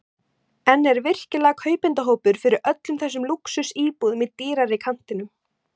En er virkilega kaupendahópur fyrir öllum þessum lúxusíbúðum í dýrari kantinum?